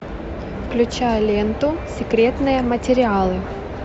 включай ленту секретные материалы